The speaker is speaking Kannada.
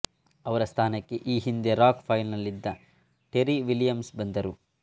ಅವರ ಸ್ಥಾನಕ್ಕೆ ಈ ಹಿಂದೆ ರಾಕ್ ಪೈಲ್ ನಲ್ಲಿದ್ದ ಟೆರಿ ವಿಲಿಯಮ್ಸ್ ಬಂದರು